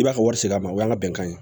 I b'a ka wari se a ma o y'an ka bɛnkan ye